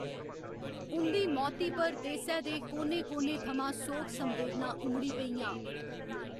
उं'दी मौती पर देसै दे कोने कोने थमां सोग संवेदनां उमड़ी पेइयां।